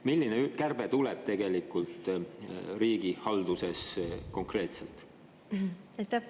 Milline kärbe tuleb tegelikult riigihalduses konkreetselt?